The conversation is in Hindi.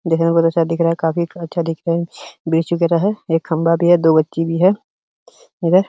देखने में बहोत अच्छा दिख रहा है। काफी अच्छा दिख रहा है। बीच वगैरा है। एक खंबा भी है। दो बच्ची भी है। इधर --